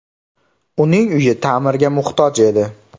Uning uyi ta’mirga muhtoj edi.